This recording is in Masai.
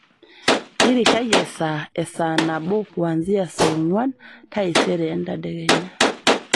irishai esaa e saa nabo kuanzia saa onguan taisere entadekenya